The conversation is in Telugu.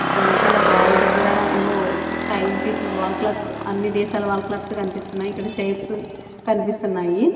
వెనకాల వాల్ దగ్గర ఏవో టైమ్ పీస్ లు వాల్ క్లాక్స్ అన్ని దేశాల వాల్ క్లాక్స్ కన్పిస్తున్నాయి . ఇక్కడ చైర్స్ కన్పిస్తున్నాయి .